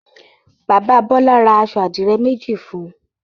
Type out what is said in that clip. Bàbá Bọ́lá ra aṣọ àdìrẹ́ méjì fún un.